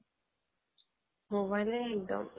মোবাইলে একডম